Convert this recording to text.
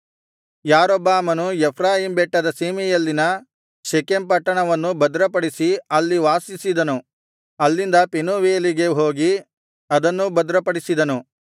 ಯಾರೊಬ್ಬಾಮನು ಎಫ್ರಾಯೀಮ್ ಬೆಟ್ಟದ ಸೀಮೆಯಲ್ಲಿನ ಶೆಕೆಮ್ ಪಟ್ಟಣವನ್ನು ಭದ್ರಪಡಿಸಿ ಅಲ್ಲಿ ವಾಸಿಸಿದನು ಅಲ್ಲಿಂದ ಪೆನೂವೇಲಿಗೆ ಹೋಗಿ ಅದನ್ನೂ ಭದ್ರಪಡಿಸಿದನು